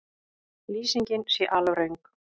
Lýsingin sé alröng